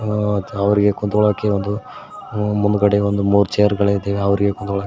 ಆ ಅವರಿಗೆ ಕುತ್ಕೊಳ್ಳೋಕೆ ಒಂದು ಮುಂದ್ಗಡೆ ಒಂದು ಮೂರು ಚೇರ್ಗಳಿದೆ ಅವರಿಗೆ ಕೂತ್ಕೊಳ್ಳ--